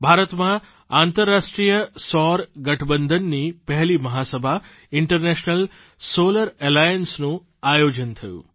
ભારતમાં આંતરરાષ્ટ્રીય સૌર ગઠબંધનની પહેલી મહાસભા ઇન્ટરનેશનલ સોલર એલાયન્સ નું આયોજન થયું